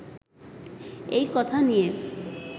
এই কথা নিয়ে